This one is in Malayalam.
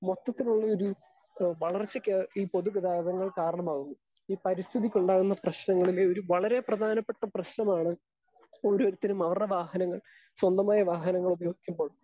സ്പീക്കർ 2 മൊത്തത്തിലുള്ളയൊരു ഏഹ് വളർച്ചയ്ക്ക് ഈ പൊതുഗതാഗതങ്ങൾ കാരണമാകുന്നു. ഈ പരിസ്ഥിതിയ്ക്കുണ്ടാകുന്ന പ്രശ്നങ്ങളിലെ ഒരു വളരെ പ്രധാനപ്പെട്ട പ്രശ്നമാണ് ഒരോരുത്തരും അവർടെ വാഹനങ്ങൾ സ്വന്തമായ വാഹനങ്ങൾ ഉപയോഗിക്കുമ്പോൾ